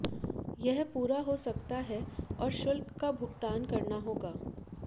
यह पूरा हो सकता है और शुल्क का भुगतान करना होगा